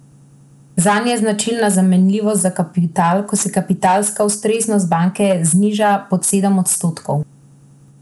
Zanje je značilna zamenljivost za kapital, ko se kapitalska ustreznost banke zniža pod sedem odstotkov.